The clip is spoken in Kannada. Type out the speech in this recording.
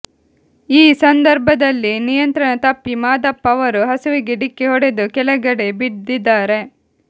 ಈ ಸಂದರ್ಭದಲ್ಲಿ ನಿಯಂತ್ರಣ ತಪ್ಪಿ ಮಾದಪ್ಪ ಅವರು ಹಸುವಿಗೆ ಡಿಕ್ಕಿ ಹೊಡೆದು ಕೆಳಗಡೆ ಬಿದ್ದಿದ್ದಾರೆ